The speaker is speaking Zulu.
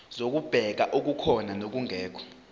zokubheka okukhona nokungekho